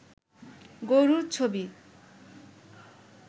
গরুর ছবি